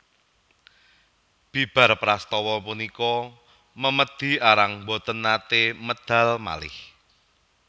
Bibar prastawa punika memedi Arang boten naté medal malih